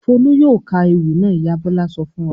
"Folú yóò ka ewì náà!" Ìyá Bọ̀lá sọ fún wa.